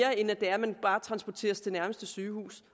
er end at man bare transporteres til nærmeste sygehus